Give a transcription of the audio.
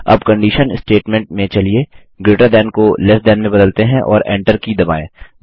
अब condition statement में चलिए ग्रेटर थान को लेस थान में बदलते हैं और Enter की दबाएँ